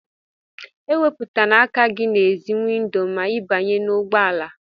E wéputana aka gị n'èzí windo ma ị banye n'ụgbọ ala!